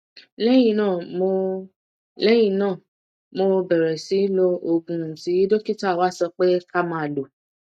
lẹyìn náà mo lẹyìn náà mo bẹrẹ sí lo oògùn tí dókítà wa sọ pé ká máa lò